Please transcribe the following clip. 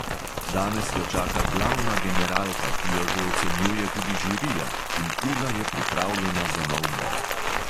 Danes jo čaka glavna generalka, ki jo že ocenjuje tudi žirija, in ula je pripravljena za nov boj.